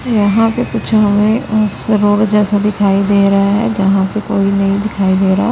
यहां पे कुछ हमें रोड जैसा दिखाई दे रहा है जहां पे कोई नही दिखाई दे रहा--